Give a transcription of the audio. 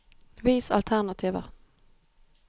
Vis alternativer